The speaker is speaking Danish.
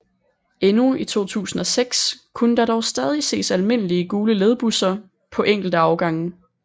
Endnu i 2006 kunne der dog stadig ses almindelige gule ledbusser på enkelte afgange